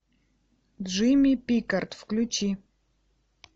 джимми пикард включи